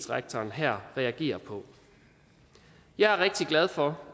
rektor her reagerer på jeg er rigtig glad for